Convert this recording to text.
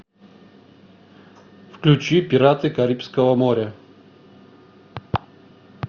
включи пираты карибского моря